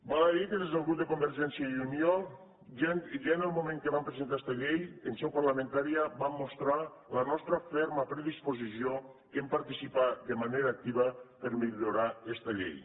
val a dir que des del grup de convergència i unió ja en el moment que vam presentar esta llei en seu parlamentària vam mostrar la nostra ferma predisposició a participar de manera activar per millorar esta llei